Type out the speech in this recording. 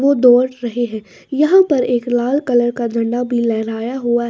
वो दौड़ रहे हैं यहाँ पर एक लाल कलर का झंडा भी लहराया हुआ --